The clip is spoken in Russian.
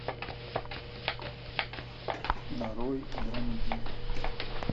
нарой драмеди